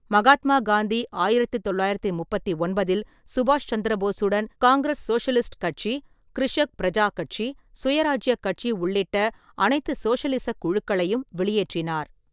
மகாத்மா காந்தி ஆயிரத்து தொள்ளாயிரத்து முப்பத்தொன்பதில் சுபாஷ் சந்திரபோஸுடன் காங்கிரஸ் சோசலிஸ்ட் கட்சி, கிரிஷக் பிரஜா கட்சி, சுயராஜ்யக் கட்சி உள்ளிட்ட அனைத்து சோஷலிசக் குழுக்களையும் வெளியேற்றினார்.